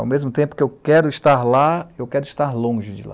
Ao mesmo tempo que eu quero estar lá, eu quero estar longe de lá.